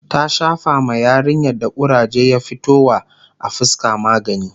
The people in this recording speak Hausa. ta Shafa ma yarinyar da kuraje ya fito wa a fuska magani